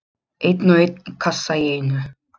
Einn og einn kassa í einu.